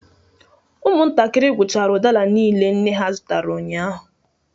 Ụmụntakịrị gwụchara udara niile nne ha zụtara ụnyahụ